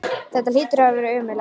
Það hlýtur að hafa verið ömurlegt.